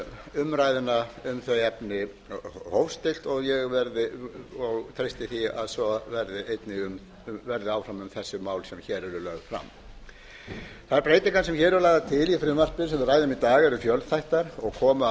umræðuna um þau efni í hóf stillt og ég treysti því að svo verði áfram um þessi mál sem hér eru lögð fram þær breytingar sem hér eru lagðar til í frumvarpi sem við ræðum í dag eru fjölþættar og koma að